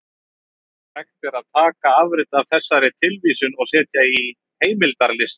Hægt er að taka afrit af þessari tilvísun og setja í heimildalista.